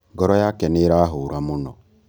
Ngoro yake nīīrahūra mūno